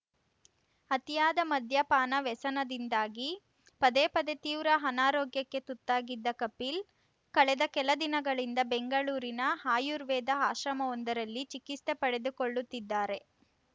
ಅತಿಯಾದ ಮದ್ಯಪಾನ ವ್ಯಸನದಿಂದಾಗಿ ಪದೇ ಪದೇ ತೀವ್ರ ಅನಾರೋಗ್ಯಕ್ಕೆ ತುತ್ತಾಗಿದ್ದ ಕಪಿಲ್‌ ಕಳೆದ ಕೆಲ ದಿನಗಳಿಂದ ಬೆಂಗಳೂರಿನ ಆರ್ಯುವೇದ ಆಶ್ರಮವೊಂದರಲ್ಲಿ ಚಿಕಿತ್ಸೆ ಪಡೆದುಕೊಳ್ಳುತ್ತಿದ್ದಾರೆ